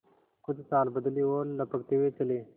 कुछ चाल बदली और लपकते हुए चले